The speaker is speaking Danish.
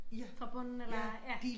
Fra bunden eller ej ja